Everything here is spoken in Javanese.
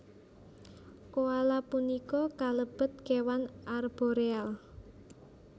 Koala punika kalebet kéwan arboreal